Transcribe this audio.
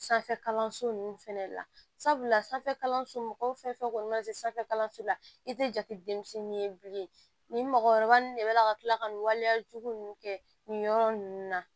Sanfɛ kalanso nunnu fɛnɛ la sabula sanfɛ kalanso mɔgɔw fɛ kɔni na se sanfɛ kalanso la i te jate denmisɛnnin ye bilen nin mɔgɔkɔrɔba nunnu de bɛ na ka kila ka nin waleya jugu ninnu kɛ nin yɔrɔ nunnu na